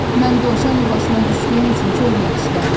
Mən dovşan yuvasına düşdüyüm üçün çox eyfsilənirəm.